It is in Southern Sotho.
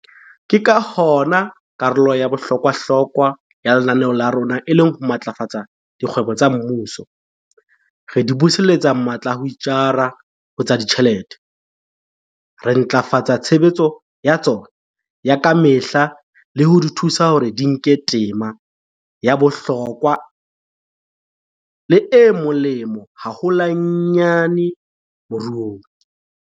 Ke ka hona karolo ya bohlokwahlokwa ya lenaneo la rona e leng ho matlafatsa dikgwebo tsa mmuso, re di buseletsa matla a ho itjara ho tsa ditjhelete, re ntlafatsa tshebetso ya tsona ya ka mehla le ho di thusa hore di nke tema ya bohlokwa le e molemo haholwanyane moruong.